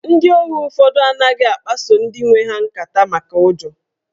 Ndị ohu ụfọdụ anaghị akpaso ndị nwe ha nkata maka ụjọ